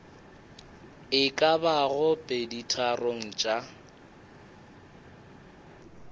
e ka bago peditharong tša